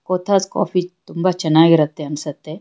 Cothas coffee ತುಂಬಾ ಚೆನ್ನಾಗಿರುತ್ತೆ ಅನ್ಸುತ್ತೆ.